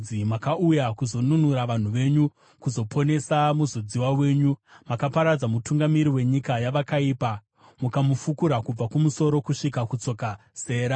Makauya kuzonunura vanhu venyu, kuzoponesa muzodziwa wenyu. Makaparadza mutungamiri wenyika yavakaipa, mukamufukura kubva kumusoro kusvika kutsoka. Sera